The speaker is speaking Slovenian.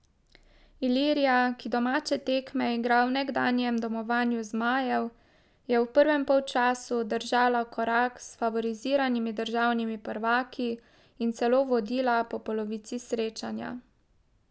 Ilirija, ki domače tekme igra v nekdanjem domovanju zmajev, je v prvem polčasu držala korak s favoriziranimi državnimi prvaki in celo vodila po polovici srečanja.